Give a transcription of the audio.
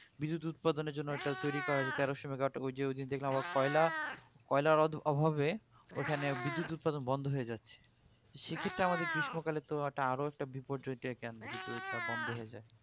বিদ্যুৎ উৎপাদনের জন্য ঐটা তৈরী করা হয়েছে ওই যে তেরোশো megawatt ঐযে ঐদিন আবার দেখলাম কয়লা কয়লার অভাবে ওখানে বিদ্যুৎ উৎপাদন বন্ধ হয়ে যাচ্ছে তো সেক্ষেত্রে আমাদের গ্রীষ্মকালে তো আরো একটা বিপদ দেখে আনবে যদি ঐটা বন্ধ হয়ে যাই